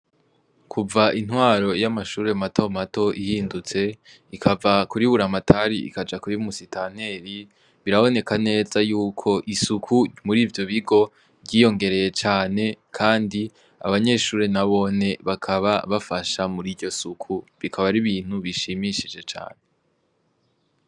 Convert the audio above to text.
Kuva intwaro y'amashure mato mato ihindutse ikava kuri buramatari ikaja kuri umusitanteri biraboneka neza yuko isuku muri ivyo bigo ryiyongereye cane, kandi abanyeshuri na bone bakaba bafasha muri iryo suku bikaba ari bintu bishimishije cane.